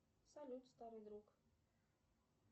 салют старый друг